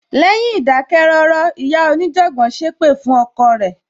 Lẹ́yìn ìdákẹ́ rọ́rọ́, ìyá onijanbon sépè fún ọkọ rẹ.